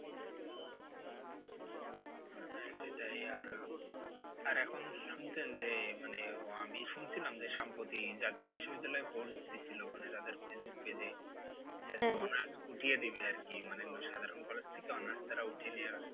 সেটাই আর, আর এখন শুনছেন যে মানে আমি শুনছিলাম যে সম্পত্তি জাতীয় বিশ্ববিদ্যালয়ে force দিয়েছিলো মানে যাদের ফেইসবুক page এ উঠিয়ে দেবে আর কি মানে সাধারণ college থেকে honours তারা উঠিয়ে নেওয়ার